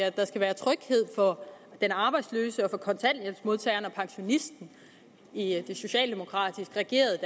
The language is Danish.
at der skal være tryghed for den arbejdsløse og for kontanthjælpsmodtageren og for pensionisten i det socialdemokratisk regerede